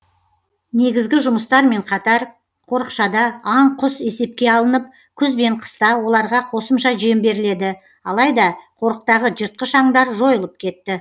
негізгі жұмыстармен қатар қорықшада аң құс есепке алынып күз бен қыста оларға қосымша жем беріледі алайда қорықтағы жыртқыш аңдар жойылып кетті